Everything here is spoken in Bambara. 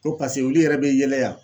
Ko pase olu yɛrɛ be yɛlɛ yan